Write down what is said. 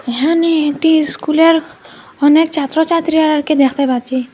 এহানে একটি স্কুলের অনেক ছাত্রছাত্রী আরআরকে দেখতে পাচ্ছি।